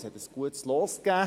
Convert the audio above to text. Es gab ein gutes Los.